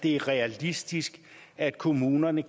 det er realistisk at kommunerne